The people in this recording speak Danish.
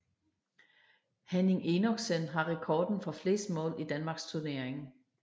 Henning Enoksen har rekorden for flest mål i Danmarksturneringen